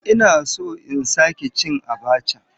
Ina so in sake cin abacha.